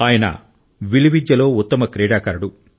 అతను ఆర్చరీలో ఉత్తమ క్రీడాకారుడు